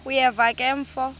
uyeva ke mfo